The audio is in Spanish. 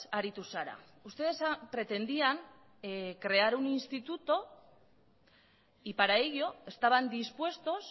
aritu zara ustedes pretendían crear un instituto y para ello estaban dispuestos